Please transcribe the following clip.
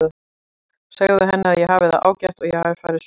Segðu henni að ég hafi það ágætt og að ég hafi farið suður.